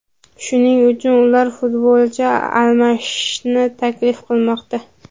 shuning uchun ular futbolchi almashishni taklif qilmoqda.